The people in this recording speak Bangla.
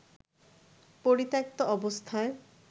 পরিত্যক্ত অবস্থায়